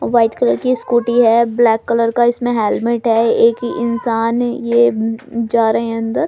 White colour की scooty है black colour का इसमें हेलमेट है एक इंसान ये जा रहे हैं अंदर।